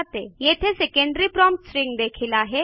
येथे secondary prompt string देखील आहे